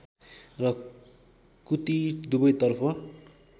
र कुती दुबैतर्फ